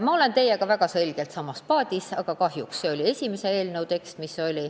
Ma olen teiega väga kindlalt samas paadis, aga kahjuks see oli kirjas algse eelnõu tekstis.